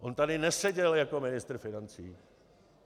On tady neseděl jako ministr financí.